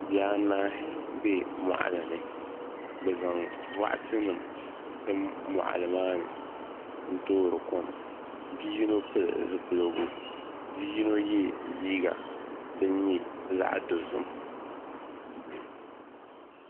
Bihi anahi bɛ moɣali ni bi zaŋ boɣati nim tim moɣali maa ni n toori kom bi yino pili zipiligu bia yino yɛ liiga din nyɛ zaɣ dozim